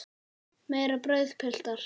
Meira brauð, piltar?